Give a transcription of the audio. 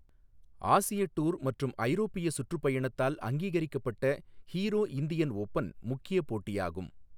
ஆசிய டூர் மற்றும் ஐரோப்பிய சுற்றுப்பயணத்தால் அங்கீகரிக்கப்பட்ட ஹீரோ இந்தியன் ஓபன் முக்கிய போட்டியாகும்.